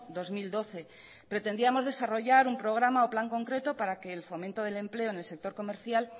dos mil doce pretendíamos desarrollar un programa o plan concreto para que el fomento del empleo en el sector comercial